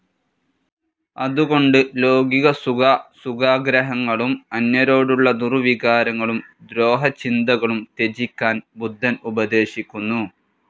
അതുകൊണ്ട് ലൌകികാസുഖാസുഖാഗ്രഹങ്ങളും അന്യരോടുള്ള ദുർവികാരങ്ങളും ദ്രോഹചിന്തകളും ത്യജിക്കാൻ ബുദ്ധൻ ഉപദേശിക്കുന്നു.